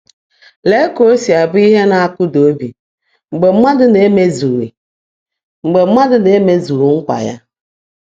Lee ka o si abụ ihe na-akụda obi mgbe mmadụ na-emezughị mgbe mmadụ na-emezughị nkwa ya!